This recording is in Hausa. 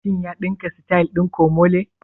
Shin ya ɗinka sityl ɗin komole?